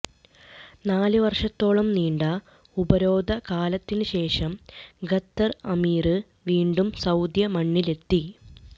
നാലു വര്ഷത്തോളം നീണ്ട ഉപരോധകാലത്തിന് ശേഷം ഖത്തര് അമീര് വീണ്ടും സൌദി മണ്ണിലെത്തി